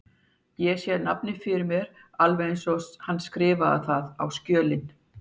Ég sé nafnið fyrir mér alveg eins og hann skrifaði það á skjölin.